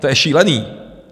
To je šílený!